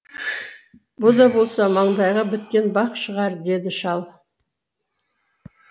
бұ да болса маңдайға біткен бақ шығар деді шал